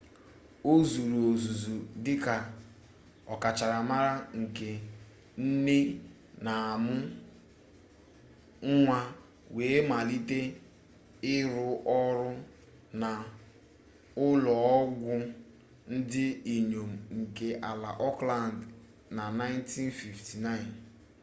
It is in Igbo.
ọ zụrụ ọzụzụ dị ka ọkachamara nke nne na-amụ nwa wee malite ịrụ ọrụ na ụlọ ọgwụ ndị inyom nke ala auckland na 1959